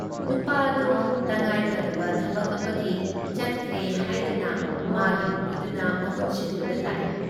ꯅꯨꯄꯥ ꯑꯗꯨ ꯇꯉꯥꯏꯐꯗꯕ ꯊꯕꯛ ꯑꯃꯒꯤ ꯆꯠꯈ꯭ꯔꯦ ꯍꯥꯏꯗꯨꯅ ꯃꯥꯒꯤ ꯅꯨꯄꯤꯗꯨꯅ ꯃꯍꯨꯠ ꯁꯤꯟꯗꯨꯅ ꯂꯥꯛꯏ ꯫